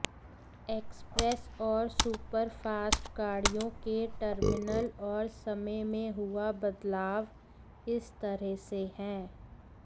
express और superfast गाड़ियों के टर्मिनल और समय में हुआ बदलाव इस तरह से है